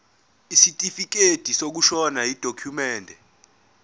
isitifikedi sokushona yidokhumende